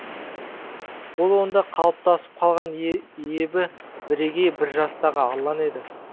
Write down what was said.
ол онда қалыптасып қалған ебі бірегей бір жастағы арлан еді